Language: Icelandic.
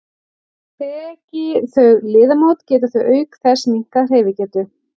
Þeki þau liðamót geta þau auk þess minnkað hreyfigetu.